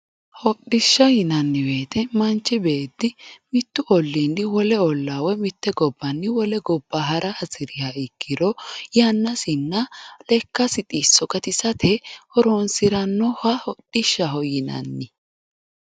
Hodhishsha yinanni woyte manchi beetti mitu ollini wole olla woyi mite gobbanni wole gobba hara hasiriha ikkiro yannasinna lekkasi xisso gatisate horonsiranoha hodhishshaho yinanni.